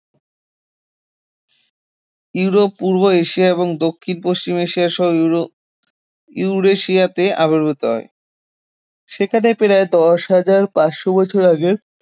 Europe, পূর্ব Asia এবং দক্ষিণ পশ্চিম এশিয়াসহ ইউরো ইউরেশিয়াতে আবির্ভুত হয় সেখানে প্রায় দশ হাজর পাঁচশ বছর আগের